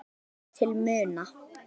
hefur aukist til muna.